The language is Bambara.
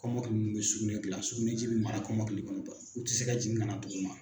Kɔmɔkili mun bɛ sugunɛ gilan suniji bɛ mara kɔmɔkili kɔnɔ u tɛ se ka jigin kana duguma.